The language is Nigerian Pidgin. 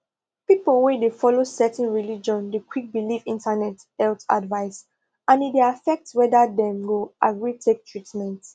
people wey dey follow certain religion dey quick believe internet health advice and e dey affect whether dem go agree take treatment